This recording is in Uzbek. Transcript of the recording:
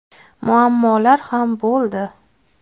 Muammolar ham bo‘ldi.